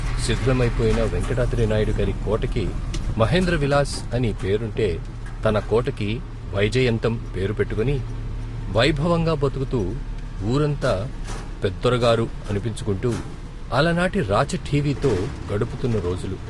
శిధిలమైపోయిన వేంకటాద్రినాయుడిగారి కోటకి మహేంద్ర విలాస్ అని పేరుంటే, తన కోటకి వైజయంతం పేరు పెట్టుకొని వైభవంగా బతుకుతూ వూరంతా పెద్దొర గారు ' అనిపించుకుంటూ, అలనాటి రాచఠీవితో గడుపుతున్న రోజులు.